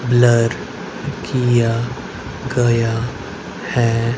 Blur किया गया है।